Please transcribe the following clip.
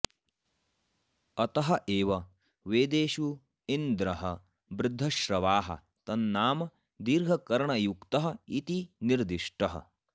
अतः एव वेदेषु इन्द्रः वृद्धश्रवाः तन्नाम दीर्घकर्णयुक्तः इति निर्दिष्टः